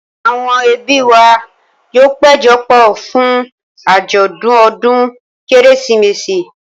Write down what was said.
Àwọn ẹbí wa yóò péjọ pọ̀ fún àjọ̀dún ọdún Kérésìmesì.